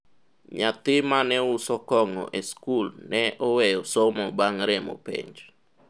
nyathi mane uso kong'o e sikul ne oweyo somo bang' remo penj